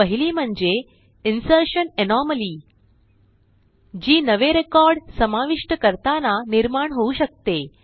पहिली म्हणजे insertion anomaly जी नवे रेकॉर्ड समाविष्ट करताना निर्माण होऊ शकते